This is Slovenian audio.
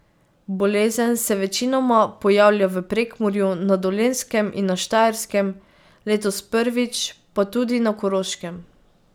Bolezen se večinoma pojavlja v Prekmurju, na Dolenjskem in na Štajerskem, letos prvič pa tudi na Koroškem.